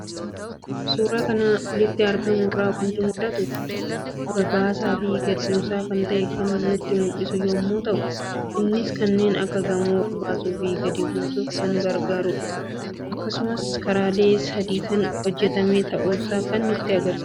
Suuraa armaan olitti argamu irraa waanti mul'atu; Olbaasaafi gadi buusaa kan ta'e kan nutti mul'isu yommuu ta'u, innis kanneen akka gamoo olbaasuufi gadi buusuf kan gargaarudha. Akkasumas karaalee sadiin kan hojjetame ta'uusaa kan nutti mul'isudha.